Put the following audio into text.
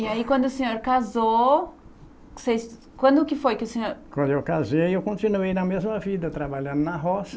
E aí, quando o senhor casou, que vocês, quando que foi que o senhor... Quando eu casei, eu continuei na mesma vida, trabalhando na roça.